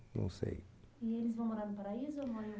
Não sei. E eles vão morar no Paraíso ou numa